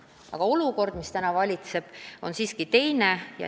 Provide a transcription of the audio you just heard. Aga olukord, mis praegu valitseb, on siiski teine.